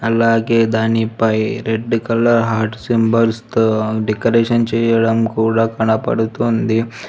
అలాగే దానిపై red colour heart symbols తో డెకరేషన్ చేయడం కూడా కనపడుతుంది.